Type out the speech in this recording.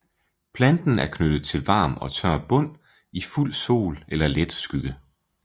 Planten er knyttet til varm og tør bund i fuld sol eller let skygge